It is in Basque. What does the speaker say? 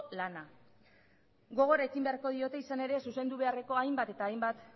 lana gogorekin beharko diote izan ere zuzendu beharreko hainbat eta hainbat